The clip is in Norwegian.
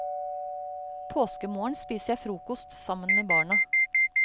Påskemorgen spiser jeg frokost sammen med barna.